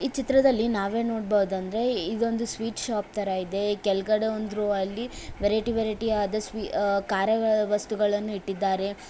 ಈ ಚಿತ್ರದಲ್ಲಿ ನಾವೇನು ನೋಡಬಹುದಾ ಅಂದ್ರೆ ಇದೊಂದು ಸ್ವೀಟ್ ಶಾಪ್ ತರ ಇದೆ ಕೆಳಗಡೆ ಒಂದ್ ರೋ ಅಲಿ ವೆರೈಟಿ ವೆರೈಟಿ ಆದ ಕರದ ವಸ್ತುಗಳನ್ನು ಇಟ್ಟಿದ್ದಾರೆ.